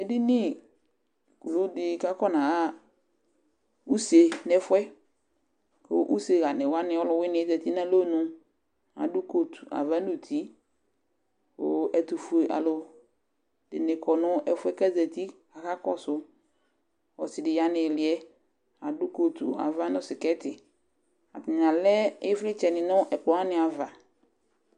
Ediniwu dɩ kʋ akɔnaɣa use nʋ ɛfʋ yɛ kʋ useɣanɩ wanɩ ɔlʋwɩnɩ yɛ zati nʋ alɔnu Adʋ kotu ava nʋ uti kʋ ɛtʋfuealʋ, ɛdɩ kɔ nʋ ɛfʋ yɛ kʋ azati kʋ akakɔsʋ Ɔsɩ dɩ ya nʋ ɩɩlɩ yɛ, adʋ kotu ava nʋ sɩkɛtɩ Atanɩ alɛ ɩvlɩtsɛnɩ nʋ ɛkplɔ wanɩ ava